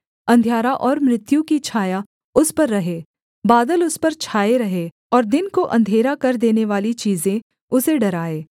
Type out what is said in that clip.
अंधियारा और मृत्यु की छाया उस पर रहे बादल उस पर छाए रहें और दिन को अंधेरा कर देनेवाली चीजें उसे डराएँ